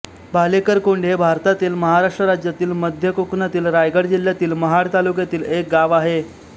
भालेकर कोंड हे भारतातील महाराष्ट्र राज्यातील मध्य कोकणातील रायगड जिल्ह्यातील महाड तालुक्यातील एक गाव आहे